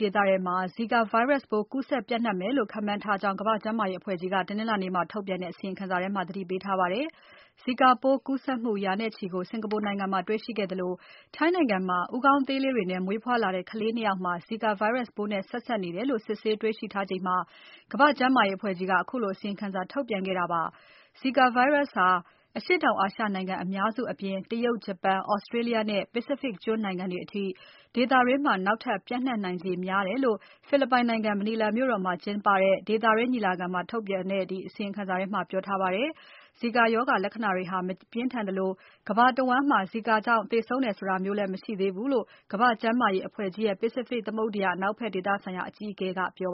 ဒေသထဲမှာ ဇီကာ Virus ပိုးကူးစက်ပျံ့နှံမယ်လို့ ခန့်မှန်းထားကြောင်း ကမ္ဘာ့ကျန်းမာရေးအဖွဲ့ကြီးက တနင်္လာနေ့မှာ ထုတ်ပြန်တဲ့ အစီရင်ခံစာထဲမှာ သတိပေးထားပါတယ်။ ဇီကာပိုးကူးစက်မှု ရာနဲ့ချီကို စင်္ကာပူနိုင်ငံမှာတေ့ွရှိခဲ့သလို ထိုင်းနိုင်ငံမှာ ဦးခေါင်းသေးလေးတွေနဲ့ မွေးဖွားလာတဲ့ ကလေး ၂ ယောက်မှာ ဇီကာ Virus ပိုးနဲ့ ဆက်စက်နေတယ်လို့ စစ်ဆေးတေ့ွရှိထားချိန်မှာ ကမ္ဘာ့ကျန်းမာရေးအဖွဲ့ကြီးက ခုလိုအစီရင်ခံစာ ထုတ်ပြန်ခဲ့တာဖြစ်ပါတယ်။ ဇီကာ Virus ဟာ အရှေ့တောင်အာရှနိုင်ငံအများစုအပြင် တရုတ်၊ ဂျပန်၊ Australia နဲ့ Pacific ကျွန်းနိုင်ငံတွေအထိ ဒေသတွင်း နောက်ထပ်ပျံ့နှံ့နိုင်ခြေ အများကြီးရှိတယ်လို့ ဖိလစ်ပိုင်နိုင်ငံ မနီလာမြို့တော်မှာကျင်းပတဲ့ ဒေသတွင်း ညီလာခံမှာ ထုတ်ပြန်ခဲ့တဲ့ အစီရင်ခံစာထဲမှာ ပြောထားပါတယ်။ ဇီကာရောဂါ လက္ခဏာတွေဟာ မပြင်းထန်သလို ကမ္ဘာတဝန်းမှာ ဇီကာကြောင့် သေဆုံးတယ်ဆိုတာမျိုးလည်း မရှိသေးဘူးလို့ ကမာ့္ဘကျန်းမာရေး အဖဲ့ွကြီးရဲ့ Pacific သမုဒ္ဒရာ အနောက်ဖက်ဒေသဆိုင်ရာ အကြီးအကဲတယော